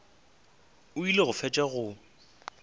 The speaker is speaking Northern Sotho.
o ile go fetša go